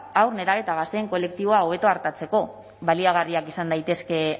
haur nerabe eta gazteen kolektiboa hobeto artatzeko baliagarriak izan daitezke